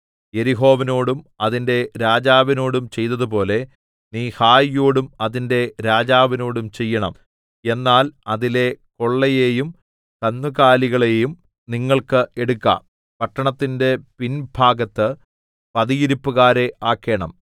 യെരിഹോവിനോടും അതിന്റെ രാജാവിനോടും ചെയ്തതുപോലെ നീ ഹായിയോടും അതിന്റെ രാജാവിനോടും ചെയ്യേണം എന്നാൽ അതിലെ കൊള്ളയെയും കന്നുകാലികളെയും നിങ്ങൾക്ക് എടുക്കാം പട്ടണത്തിന്റെ പിൻഭാഗത്ത് പതിയിരിപ്പുകാരെ ആക്കേണം